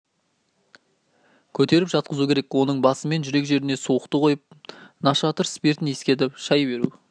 көтеріп жатқызу керек оның басы мен жүрек жеріне суықты қойып нашатыр спиртін искетіп шай беру